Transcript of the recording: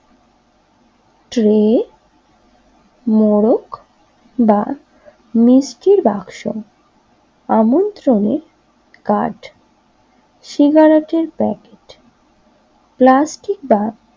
tray মোরক বা মিষ্টির বাক্স আমন্ত্রণের কার্ড সিগারেটের প্যাকেট প্লাস্টিক বা